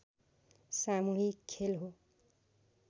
सामूहिक खेल हो